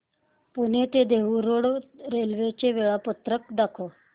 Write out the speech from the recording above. पुणे ते Dehu road railway चे वेळापत्रक दाखव